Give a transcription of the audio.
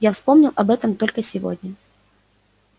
я вспомнил об этом только сегодня